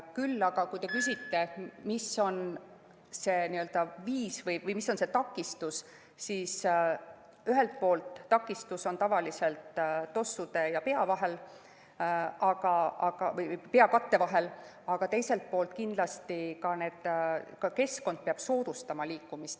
Küll aga, kui te küsite, mis on see takistus, siis ühelt poolt on takistus tavaliselt tossude ja peakatte vahel, aga teiselt poolt peab kindlasti ka keskkond liikumist soodustama.